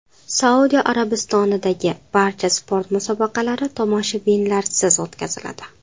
Saudiya Arabistonidagi barcha sport musobaqalari tomoshabinlarsiz o‘tkaziladi .